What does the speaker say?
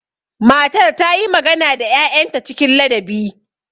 Matar ta yi magana da 'ya'yanta cikin ladabi.